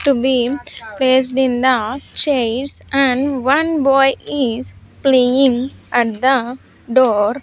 To be placed in the chairs and one boy is playing at the door.